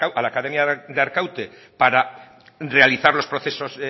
a la academia de arkaute para realizar los procesos